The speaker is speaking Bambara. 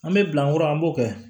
An bɛ bila n kɔrɔ an b'o kɛ